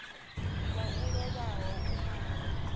wau o lovhaho u malwa